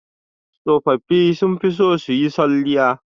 Tsofaffi sun fi son su yi salliya